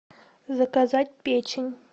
заказать печень